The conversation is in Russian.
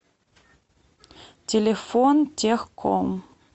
телефон техком